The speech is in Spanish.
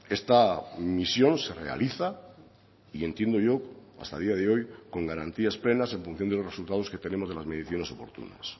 esta misión se realiza y entiendo yo hasta día de hoy con garantías plenas en función de los resultados que tenemos de las mediciones oportunas